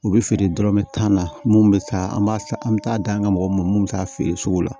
U bɛ feere dɔrɔmɛ tan na mun bɛ taa an b'a san an bɛ taa dan an ka mɔgɔ ma mun bɛ taa feere sugu la